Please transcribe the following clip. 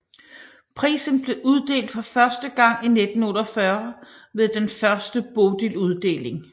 Prisen blev uddelt for første gang i 1948 ved den første Bodiluddeling